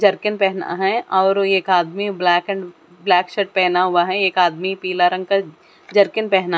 jerkin पहना है और एक आदमी ब्लैक एंड ब्लैक शर्ट पहना हुआ है एक आदमी पिला रंग का जरकिन पहना --